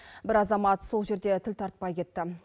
бір азамат сол жерде тіл тартпай кетті